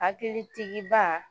Hakili tigiba